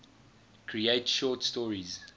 create short stories